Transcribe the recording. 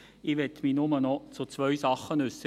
Ich möchte mich nur noch zu zwei Sachen äussern: